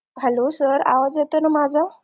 hallo sir आवाज येतोय ना माझा